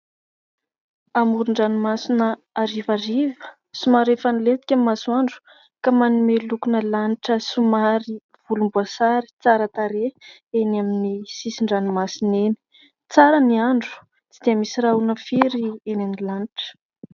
Amoron-dranomasina harivariva, somary efa milentika ny masoandro ka manome lokona lanitra somary volomboasary tsara tarehy eny amin'ny sisin-dranomasina eny. Tsara ny andro, tsy dia misy rahona firy eny amin'ny lanitra.